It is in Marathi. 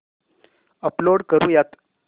अपलोड करुयात